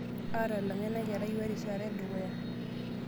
Aatalang'a ina kerai ewa erishata edukuya .